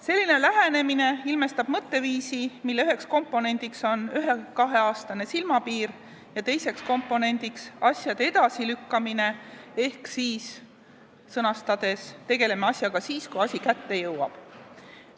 Selline lähenemine ilmestab mõtteviisi, mille üheks komponendiks on ühe- või kaheaastane silmapiir ja teiseks komponendiks asjade edasilükkamine ehk põhimõte, et tegeleme asjaga siis, kui see asi kätte jõuab.